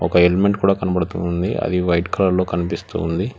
ఒక హెల్మెట్ కూడా కనబడుతుంది అది వైట్ కలర్ లో కనిపిస్తుంది.